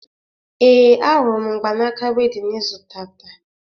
Ee, ahụrụ m mgbanaaka wedịn ị zụtata